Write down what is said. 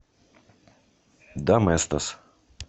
доместос